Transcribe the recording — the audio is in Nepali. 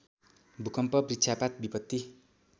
भूकम्प वृक्षपात विपत्ति